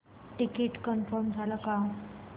ticket confirm झाले का